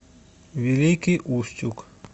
великий устюг